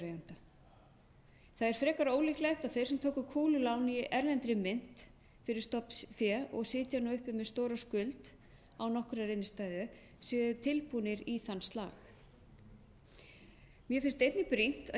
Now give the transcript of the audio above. það er frekar ólíklegt að þeir sem tóku kúlulán í erlendri mynt fyrir stofnfé og sitja nú uppi með stóra skuld án nokkurrar innstæðu séu tilbúnir í þann slag mér finnst einnig brýnt að